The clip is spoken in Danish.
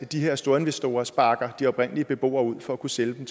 de her storinvestorer sparker de oprindelige beboere ud for at kunne sælge